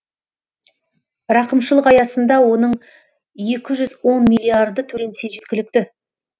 рақымшылық аясында оның екі жүз он миллиарды төленсе жеткілікті